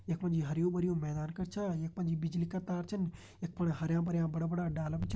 यखमा जी हर्युं-भर्युं मैदान कर छ यख पंजी बिजली का तार छन यख फुणा हर्या-भर्या बड़ा-बड़ा डाला भी छन।